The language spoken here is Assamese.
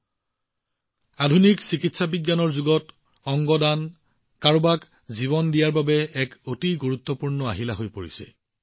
বন্ধুসকল আধুনিক চিকিৎসা বিজ্ঞানৰ এই যুগত অংগ দান কৰাটো কাৰোবাক জীৱন প্ৰদান কৰাৰ এক অতি গুৰুত্বপূৰ্ণ মাধ্যম হৈ পৰিছে